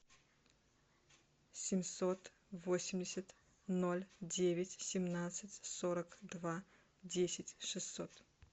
семьсот восемьдесят ноль девять семнадцать сорок два десять шестьсот